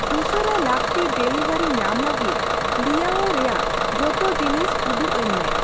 ᱩᱥᱟᱹᱨᱟ ᱞᱟᱹᱠᱛᱤ ᱰᱮᱞᱤᱣᱟᱨᱤ ᱧᱟᱢ ᱞᱟᱹᱜᱤᱫ ᱞᱤᱭᱟᱳ ᱨᱮᱭᱟᱜ ᱡᱚᱛᱚ ᱡᱤᱱᱤᱥ ᱩᱫᱩᱜ ᱟᱹᱧ ᱢᱮ ᱾